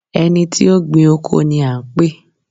ẹni tí ó gbìn oko ni a ń pè?